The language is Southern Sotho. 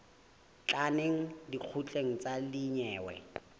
tla neng lekgotleng la dinyewe